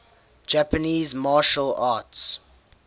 japanese martial arts